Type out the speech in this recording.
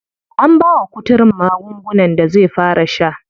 An bawa kuturun magungunan da zai fara sha.